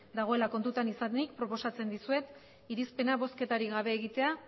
dagoela kontutan izanik proposatzen dizuet irizpena bozketarik gabe egitea